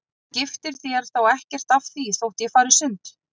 Þú skiptir þér þá ekkert af því þótt ég fari í sund?